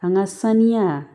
An ka sanuya